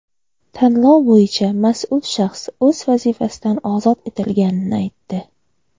tanlov bo‘yicha mas’ul shaxs o‘z vazifasidan ozod etilganini aytdi.